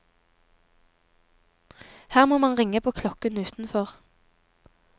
Her må man ringe på klokken utenfor.